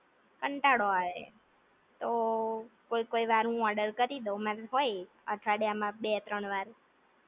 કંટાળો આવે, તો કોઈ કોઈ વાર હું ઓર્ડર કરી દવ, મન હોય અઠવાડિયા માં બે ત્રણ-વાર